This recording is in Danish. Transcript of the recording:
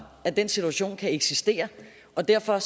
at den situation kan eksistere og derfor